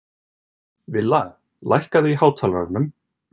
Villa, lækkaðu í hátalaranum.